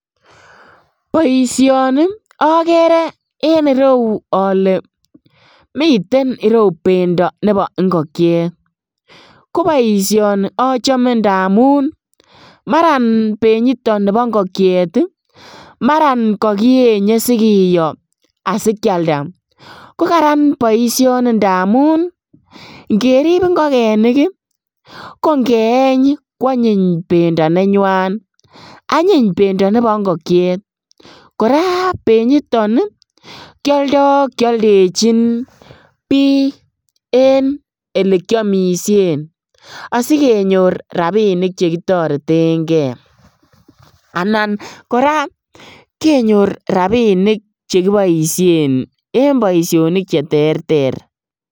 Boishoni okere en ireuu olee miten ireuu bendo nebo ing'okiet, ko boishoni achome ndamun maran benyiton nibo ing'okiet maran ko kienye sikiyo asikialda, ko Karan boishoni ndamun ng'erib ing'okenik ko ng'eeny kwanyiny bendo nenywan, anyun bendo nebo ing'okiet, kora benyiton kioldo kioldechin biik en elekiomishen asikenyor rabinik chekitoreteng'e, anan kora kenyor rabinik chekiboishen en boishonik cheterter.